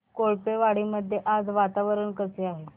कोळपेवाडी मध्ये आज वातावरण कसे आहे